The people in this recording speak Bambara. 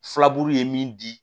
Filaburu ye min di